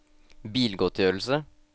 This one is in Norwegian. bilgodtgjørelse